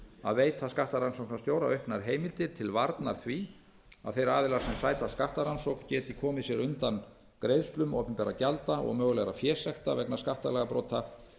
að veita skattrannsóknarstjóra auknar heimildir til varnar því að þeir aðilar sem sæta skattrannsókn geti komið sér undan greiðslum opinberra gjalda og mögulegra fésekta vegna skattalagabrota